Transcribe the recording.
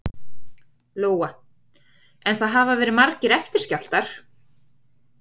Lóa: En það hafa verið margir eftirskjálftar?